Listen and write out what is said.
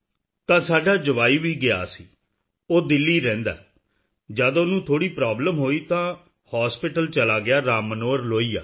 ਤਾਂ ਸਾਡਾ ਜਵਾਈ ਵੀ ਗਿਆ ਸੀ ਉਹ ਦਿੱਲੀ ਰਹਿੰਦਾ ਹੈ ਜਦ ਉਹਨੂੰ ਥੋੜ੍ਹੀ ਪ੍ਰੋਬਲਮ ਹੋਈ ਤਾਂ ਹਾਸਪਿਟਲ ਚਲੇ ਗਿਆ ਰਾਮ ਮਨੋਹਰ ਲੋਹੀਆ